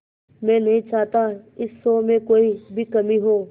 मैं नहीं चाहता इस शो में कोई भी कमी हो